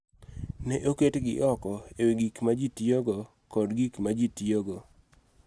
Ne oketgi oko e wi gik ma ji tiyogo kod gik ma ji tiyogo.